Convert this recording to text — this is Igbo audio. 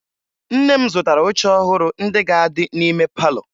Nne m zụtara oche ọhụrụ ndị ga-adị n'ime palọ